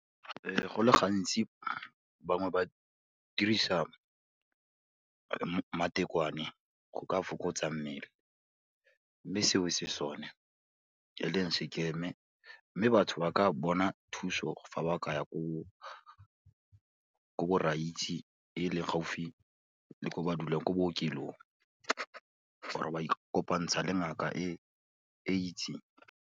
Go le gantsi bangwe ba dirisa matekwane go ka fokotsa mmele, mme seo se sone e leng se scam-e, mme batho ba ka bona thuso fa ba ka ya ko borraitsi e leng gaufi le ko ba dulang, ko bookelong or-e ba ikopantsha le ngaka e e itseng.